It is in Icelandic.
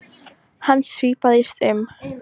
Hann svipaðist um.